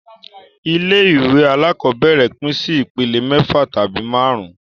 Ilé ìwé alákọ́bẹ̀rẹ̀ pín sí ìpele mẹ́fà tabi máàrún